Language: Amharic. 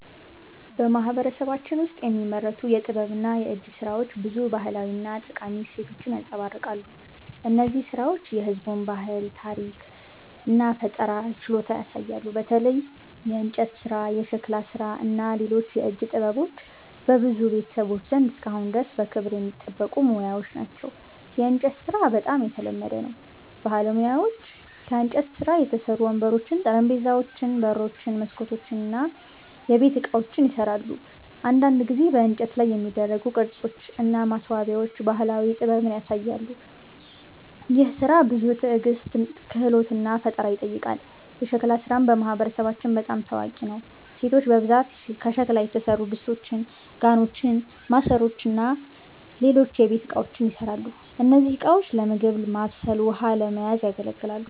በማህበረሰባችን ውስጥ የሚመረቱ የጥበብና የእጅ ሥራዎች ብዙ ባህላዊ እና ጠቃሚ እሴቶችን ያንጸባርቃሉ። እነዚህ ሥራዎች የህዝቡን ባህል፣ ታሪክ እና ፈጠራ ችሎታ ያሳያሉ። በተለይ የእንጨት ሥራ፣ የሸክላ ሥራ እና ሌሎች የእጅ ጥበቦች በብዙ ቤተሰቦች ዘንድ እስካሁን ድረስ በክብር የሚጠበቁ ሙያዎች ናቸው። የእንጨት ሥራ በጣም የተለመደ ነው። ባለሙያዎች ከእንጨት የተሠሩ ወንበሮች፣ ጠረጴዛዎች፣ በሮች፣ መስኮቶች እና የቤት ዕቃዎችን ይሠራሉ። አንዳንድ ጊዜ በእንጨት ላይ የሚደረጉ ቅርጾች እና ማስዋቢያዎች ባህላዊ ጥበብን ያሳያሉ። ይህ ሥራ ብዙ ትዕግስት፣ ክህሎት እና ፈጠራ ይጠይቃል። የሸክላ ሥራም በማህበረሰባችን በጣም ታዋቂ ነው። ሴቶች በብዛት ከሸክላ የተሠሩ ድስቶች፣ ጋኖች፣ ማሰሮዎች እና ሌሎች የቤት እቃዎችን ይሠራሉ። እነዚህ ዕቃዎች ለምግብ ማብሰል ውሃ ለመያዝ ያገለግላል